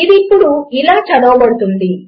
ఇది ఇప్పుడు ఇలా చదవబడుతుంది